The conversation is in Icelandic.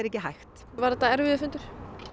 ekki hægt var þetta erfiður fundur